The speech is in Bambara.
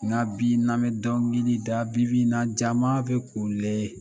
Nka bi n'an mɛ dɔnkilida, bi bi na jama bɛ kule